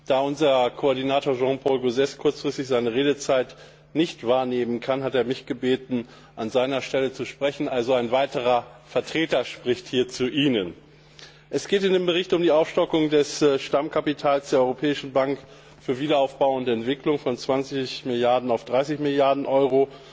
Da unser Koordinator Jean Paul Gauzès kurzfristig seine Redezeit nicht wahrnehmen kann, hat er mich gebeten, an seiner Stelle zu sprechen. Es spricht also ein weiterer Vertreter hier zu Ihnen. Es geht in dem Bericht um die Aufstockung des Stammkapitals der Europäischen Bank für Wiederaufbau und Entwicklung von 20 Milliarden auf 30 Milliarden Euro,